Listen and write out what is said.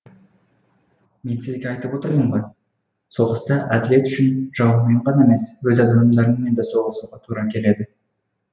мен сізге айтып отырмын ғой соғыста әділет үшін жауыңмен ғана емес өз адамдарыңмен де соғысуға тура келеді